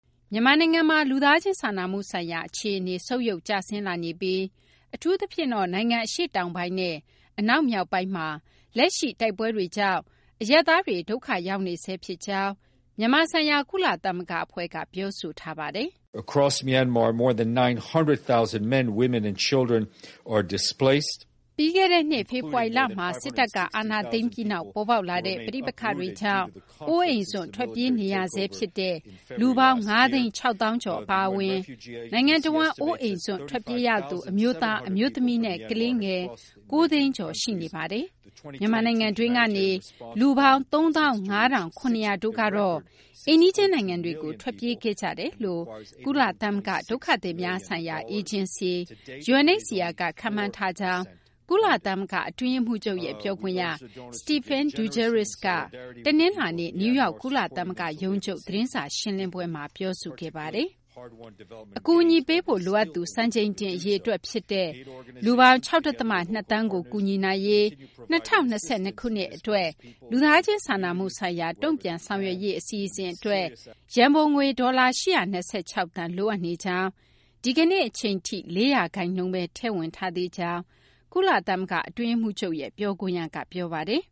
မြန်မာနိုင်ငံမှာ လူသားချင်းစာနာမှုဆိုင်ရာ အခြေအနေ ဆုတ်ယုတ်ကျဆင်းလာနေပြီး အထူးသဖြင့်တော့ နိုင်ငံ အရှေ့တောင်ပိုင်းနဲ့ အနောက်မြောက်ပိုင်းမှာ လက်ရှိ တိုက်ပွဲတွေကြောင့် အရပ်သားတွေ ဒုက္ခရောက်နေဆဲ ဖြစ်ကြောင်း မြန်မာ ဆိုင်ရာ ကုလသမဂ္ဂ အဖွဲ့က ပြောဆိုထားပါတယ်။ ပြီးခဲ့တဲ့နှစ် ဖေဖော်ဝါရီလမှာ စစ်တပ်က အာဏာသိမ်းပြီးနောက် ပေါ်ပေါက်လာတဲ့ ပဋိပက္ခတွေကြောင့် အိုးအိမ်စွန့်ထွက်ပြေးနေရဆဲ ဖြစ်တဲ့ လူပေါင်း ၅၆၀,၀၀၀ ကျော်အပါအဝင် နိုင်ငံတဝန်း အိုးအိမ်စွန့် ထွက်ပြေးရသူ အမျိုးသား၊ အမျိုးသမီးနဲ့ ကလေးငယ် ၉၀၀,၀၀၀ ကျော် ရှိနေပါတယ်။ မြန်မာနိုင်ငံတွင်းကနေ လူပေါင်း ၃၅,၇၀၀ တို့ကတော့ အိမ်နီးချင်း နိုင်ငံတွေကို ထွက်ပြေးခဲ့ကြကြောင်း ကုလသမဂ္ဂ ဒုက္ခသည်များဆိုင်ရာ အေဂျင်စီ UNHCR က ခန့်မှန်းထားကြောင်း ကုလသမဂ္ဂ အတွင်းရေးမှူးချုပ်ရဲ့ ပြောခွင့်ရ Stephane Dujarric က တနလာၤနေ့ နယူးယောက် ကုလသမဂ္ဂ ရုံးချုပ် သတင်းစာ ရှင်းလင်းပွဲမှာ ပြောဆိုခဲ့တာပါ။ အကူအညီပေးဖို့ လိုအပ်သူ စံချိန်တင် အရေအတွက် ဖြစ်တဲ့ လူပေါင်း ၆ ဒသမ ၂ သန်းကို ကူညီနိုင်ရေး ၂၀၂၂ ခုနှစ် လူသားချင်းစာနာမှု ဆိုင်ရာ တုံ့ပြန်ဆောင်ရွက်ရေး အစီအစဉ် အတွက် ရန်ပုံငွေ ဒေါ်လာ ၈၂၆ သန်းလိုအပ်နေကြောင်း၊ ဒီကနေ့ အချိန်ထိ ၄ ရာခိုင်နှုန်းဘဲ ထည့်ဝင်ထားသေးကြောင်းလည်း ကုလသမဂ္ဂ အတွင်းရေးမှူးချုပ်ရဲ့ ပြောခွင့်ရက ပြောပါတယ်